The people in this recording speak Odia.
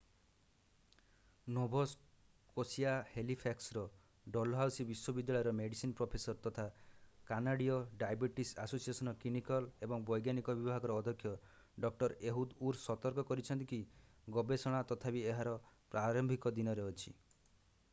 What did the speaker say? ନୋଭା ସ୍କୋଶିଆର ହାଲିଫ୍ୟାକ୍ସର ଡଲହାଉସୀ ବିଶ୍ୱବିଦ୍ୟାଳୟର ମେଡିସିନ୍ ପ୍ରଫେସର ତଥା କାନାଡୀୟ ଡାଇବେଟିସ୍ ଆସୋସିଏଶନ୍‌ର କ୍ଲିନିକଲ୍ ଏବଂ ବୈଜ୍ଞାନିକ ବିଭାଗର ଅଧ୍ୟକ୍ଷ ଡଃ. ଏହୁଦ୍ ଉର୍ ସତର୍କ କରିଛନ୍ତି କି ଗବେଷଣା ତଥାପି ଏହାର ପ୍ରାରମ୍ଭିକ ଦିନରେ ଅଛି।